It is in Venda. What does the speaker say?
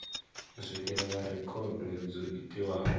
u swikelela rekhodo dzo itiwaho